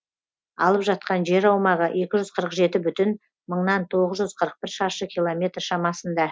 алып жатқан жер аумағы екі жүз қырық жеті бүтін мыңнан тоғыз жүз қырық бір шаршы километр шамасында